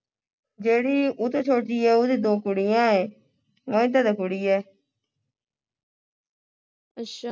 ਜਿਹੜੀ ਉਹ ਤੋਂ ਛੋਟੀ ਐ ਉਹ ਦੇ ਦੋ ਕੁੜੀਆਂ ਏ ਕੁੜੀ ਐ